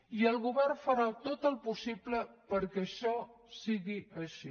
i el govern farà tot el possible perquè això sigui així